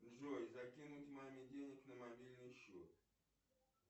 джой закинуть маме денег на мобильный счет